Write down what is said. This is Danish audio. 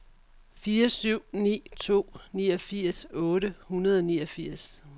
fire syv ni to niogfirs otte hundrede og niogfirs